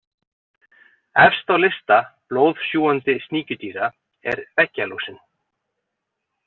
Efst á lista blóðsjúgandi sníkjudýra er veggjalúsin.